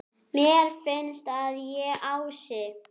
Mér finnst að ég, Ási